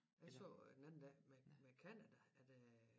Jeg så øh den anden dag med med Canada at øh